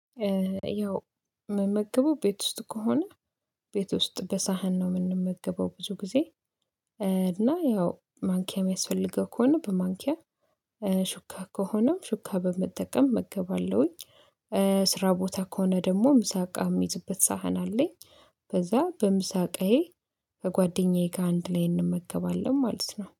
ያው የምመገበው ቤት ውስጥ ከሆነ ቤት ውስጥ በሳህን ነው የምንመገበው ብዙ ጊዜ እና ያው ማንኪያ የሚያስፈልገው ከሆነ በማንኪያ ሹካ ከሆነም ሹካ በመጠቀም እመገባለሁኝ። ስራ ቦታ ከሆነ ደግሞ ምሳቃ የሚይዝበት ሳህን አለኝ በዛ በምሳ እቃዬ ከጓደኛዬ ጋር ከአንድ ላይ እንመገባለን ማለት ነው